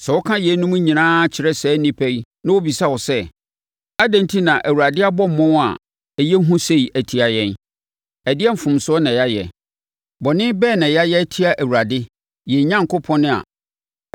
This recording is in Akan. “Sɛ woka yeinom nyinaa kyerɛ saa nnipa yi na wɔbisa wo sɛ, ‘Adɛn enti na Awurade abɔ mmɔm a ɛyɛ hu sei atia yɛn? Ɛdeɛn mfomsoɔ na yɛayɛ? Bɔne bɛn na yɛayɛ atia Awurade, yɛn Onyankopɔn’ a,